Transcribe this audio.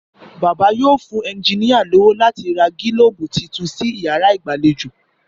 Bàbá yóò fún enjiníà lówó láti ra gílóòbù tuntun sí yàrá ìgbàlejò